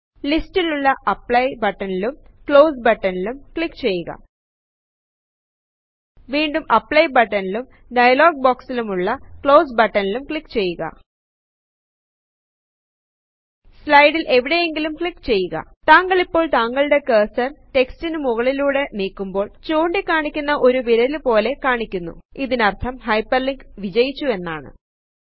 ലിസ്റ്റിലുള്ള apply button ലും close button ലും ക്ലിക്ക് ചെയ്യുക വീണ്ടും അപ്ലൈ ബട്ടൺ ലും ഡയലോഗ് ബോക്സിലും ഉള്ള ക്ലോസ് ബട്ടൺ ലും ക്ലിക്ക് ചെയ്യുക സ്ലയടിൽ എവിടെയെങ്കിലും ക്ലിക്ക് ചെയ്യുക താങ്കളിപ്പോൾ താങ്കളുടെ കെർസെർ റ്റെക്സ്റ്റിനു മുകളിലൂടെ നീക്കുമ്പോൾ ചൂണ്ടി കാണിക്കുന്ന ഒരു വിരല് പോലെ കാണിക്കുന്നു ഇതിനർഥം ഹൈപെർലിങ്ക് വിജയിച്ചു എന്നാണ്160